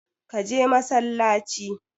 Ka je masallaci!